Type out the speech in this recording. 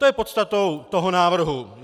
To je podstatou toho návrhu.